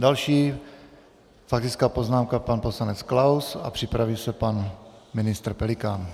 Další faktická poznámka pan poslanec Klaus a připraví se pan ministr Pelikán.